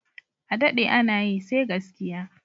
Adaɗe ana yi, sai gaskiya